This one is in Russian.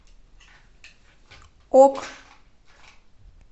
ок